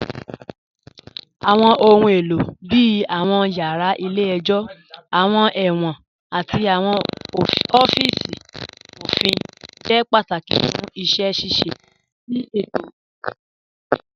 Awọn ọ̀hun èlo bíi awọn yara ilẹ̀-ẹ̀jọ, awọn èwọ̀n, àti awọn ọ̀fíìsì ofin jẹ́ pátákì fún iṣẹ́ ṣíṣẹ̀ tì ètò idajọ̀ Nàìjíríà